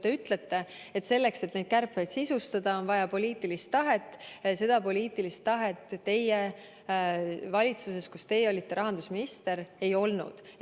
Te ütlete, et selleks, et neid kärpeid sisustada, on vaja poliitilist tahet ja seda poliitilist tahet valitsuses, kus teie olite rahandusminister, ei olnud.